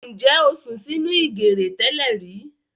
Ǹjẹ́ o sùn sí nínú ìgèrè tẹ́lẹ̀rí